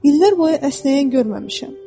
İllər boyu əsnəyən görməmişəm.